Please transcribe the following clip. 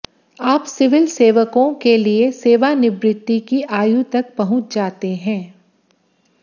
आप सिविल सेवकों के लिए सेवानिवृत्ति की आयु तक पहुँच जाते हैं